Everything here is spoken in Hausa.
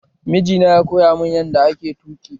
Miji na ya koya mun yanda ake tuƙi